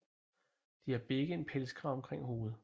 De har begge en pelskrave omkring hovedet